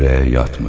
ürəyə yatmır.